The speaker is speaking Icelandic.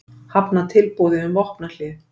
Hafna tilboði um vopnahlé